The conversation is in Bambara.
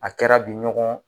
A kɛra bi ɲɔgɔn